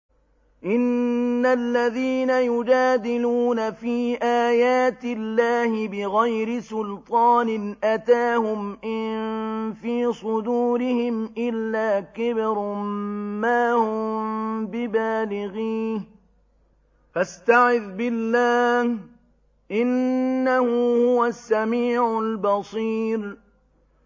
إِنَّ الَّذِينَ يُجَادِلُونَ فِي آيَاتِ اللَّهِ بِغَيْرِ سُلْطَانٍ أَتَاهُمْ ۙ إِن فِي صُدُورِهِمْ إِلَّا كِبْرٌ مَّا هُم بِبَالِغِيهِ ۚ فَاسْتَعِذْ بِاللَّهِ ۖ إِنَّهُ هُوَ السَّمِيعُ الْبَصِيرُ